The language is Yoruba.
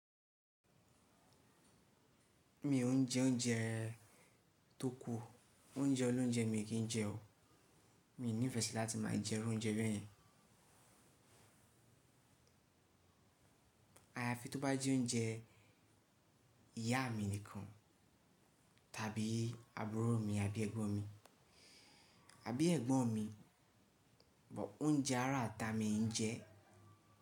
Mi ò ń jẹ oúnjẹ tó kù, oúnjẹ olóunjẹ mi kì í jẹ o. Mi ò ní ìfẹ́ sí láti máa jẹ irú oúnjẹ bẹ́yẹn. Àyàfi tó bá jẹ́ oúnjẹ ìyá mi nìkan, tàbí àbúrò mi, àbí ẹ̀gbọ́n mi, àbí ẹ̀gbọ́n mi, but oúnjẹ ará ata mi i ń jẹ.